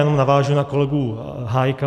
Jenom navážu na kolegu Hájka.